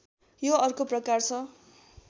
यो अर्को प्रकार छ